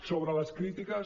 sobre les crítiques